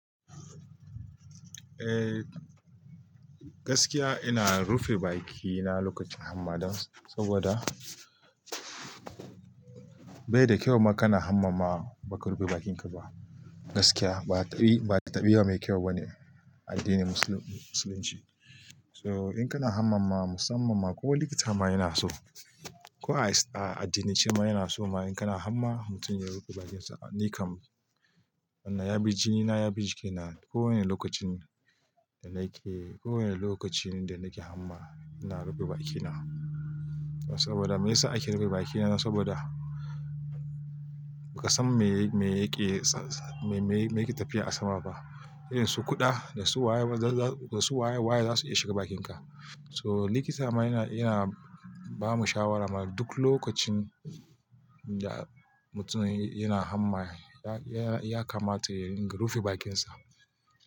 Eh, gaskiya ina rufe bakina lokacin hamma dan saboda bai da kyau ma kana hamma ma baka rufe bakinka ba. Gaskiya ba taɓi, ba taɓiwa mai kyau bane a addinin musulunci. So in kana hamma ma musamman ma kowa likita ma yana so, ko a addinicin ma yana so ma in kana hamma mutum ya rufe bakinsa. Ni kam, wannan ya bi jini na ya bi jiki na. Kowane lokacin da nake, kowane lokaci da nake hamma ina rufe bakina. Saboda me yasa ake rufe bakina saboda ba ka san me, me yake, me yake tafiya a sama ba. Irin su kuɗa da su waye, da su waye waye zasu iya shiga bakinka. So likita ma yana, yana bamu shawara ma duk lokacin da mutum yana hamma ya, ya kamata ya ringa rufe bakinsa.